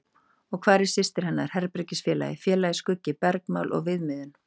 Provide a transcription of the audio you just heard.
Og hvar var systir hennar, herbergisfélagi, félagi, skuggi, bergmál og viðmiðun?